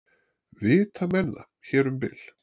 vita menn það- hér um bil!